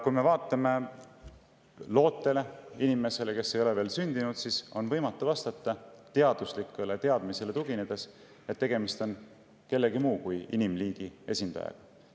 Kui me vaatame loodet, inimest, kes ei ole veel sündinud, siis teaduslikule teadmisele tuginedes on võimatu vastata, et tegemist on kellegi muu kui inimliigi esindajaga.